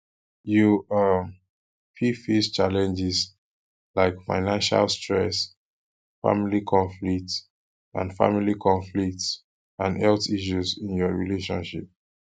you um fit face challenges like financial stresss family conflicts and family conflicts and health issues in your relationship um